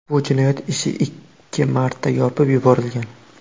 Bu jinoyat ishi ikki marta yopib yuborilgan.